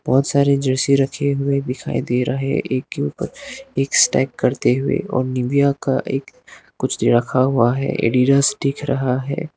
बहोत सारे जर्सी रखे हुए दिखाई दे रहे एक के ऊपर एक स्टाइक करते हुए और निविया का एक कुछ दे रखा हुआ है एडीडास दिख रहा है।